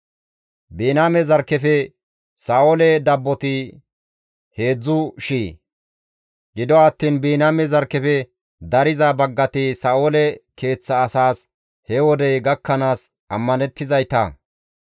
Biniyaame zarkkefe Sa7oole dabboti heedzdzu shiya. Gido attiin Biniyaame zarkkefe dariza baggati Sa7oole keeththa asaas he wodey gakkanaas ammanettizayta.